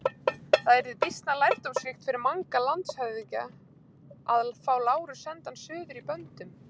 Það yrði býsna lærdómsríkt fyrir Manga landshöfðingja að fá Lárus sendan suður í böndum.